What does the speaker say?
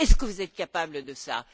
Est ce que vous êtes capables de cela?